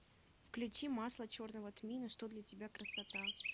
включи масло черного тмина что для тебя красота